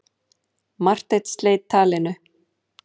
Marteinn sleit talinu.